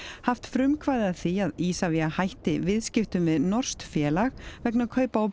haft frumkvæði að því að Isavia hætti viðskiptum við norskt félag vegna kaupa á